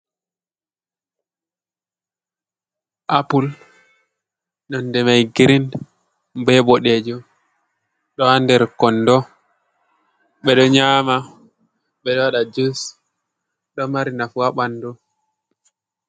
Apple nonde mai girin be ɓoɗejum ɗo haa nder kondo. Ɓeɗo nyama, ɓeɗo waɗa jus, ɗo mari nafu haa ɓandu.